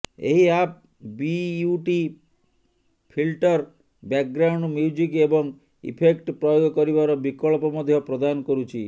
ଏହି app beauty filter background music ଏବଂ effect ପ୍ରୟୋଗ କରିବାର ବିକଳ୍ପ ମଧ୍ୟ ପ୍ରଦାନ କରୁଛି